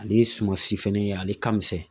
Ale ye sumasi fɛnɛ ye ale ka misɛn